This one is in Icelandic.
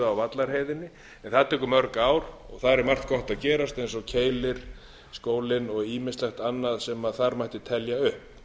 vallarheiðinni en það tekur mörg ár þar er margt gott að gerast eins og keilir skólinn og ýmislegt annað sem þar mætti telja upp